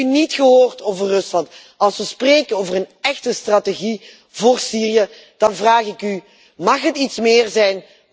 Ik heb u niet gehoord over Rusland. Als we spreken over een echte strategie voor Syrië, dan vraag ik u mag het iets meer zijn?